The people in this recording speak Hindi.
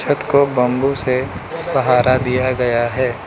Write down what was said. कथ को बंबू से सहारा दिया गया है।